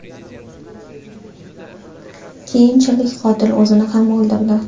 Keyinchalik qotil o‘zini ham o‘ldirdi.